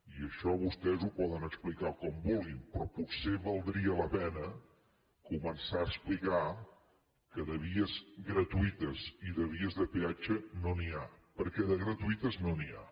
i això vostès ho poden explicar com vulguin però potser valdria la pena començar a explicar que de vies gratuïtes i de vies de peatge no n’hi ha perquè de gratuïtes no n’hi ha